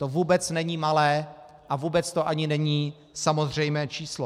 To vůbec není malé a vůbec to ani není samozřejmé číslo.